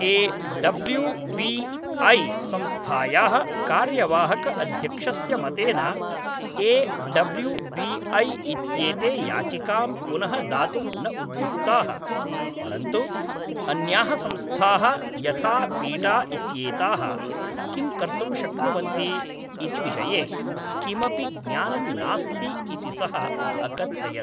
A W B I संस्थायाः कार्यवाहक अध्यक्षस्य मतेन ए डब्ल्यू बी ऐ इत्येते याचिकां पुनः दातुं न उद्युक्ताः, परन्तु अन्याः संस्थाः यथा पीटा इत्येताः किं कर्तुं शक्नुवन्ति इति विषये किमपि ज्ञानं नास्ति इति सः अकथयत्।